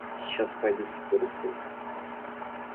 сейчас пойду и соберу своих